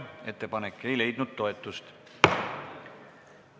Ettepanek ei leidnud toetust.